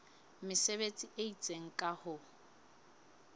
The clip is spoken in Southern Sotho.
mesebetsi e itseng ka ho